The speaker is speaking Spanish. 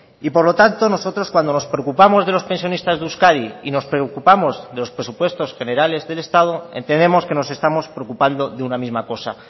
y por lo tanto nosotros cuando nos preocupamos de los pensionistas de euskadi y nos preocupamos de los presupuestos generales del estado entendemos que nos estamos preocupando de una misma cosa